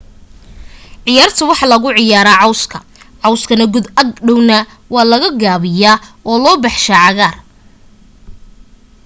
ciyaarta waxaa lagu ciyaaraya cawska cawskana godka ag dhowrna waa la gaabiyaa oo loo baxshaa cagaaar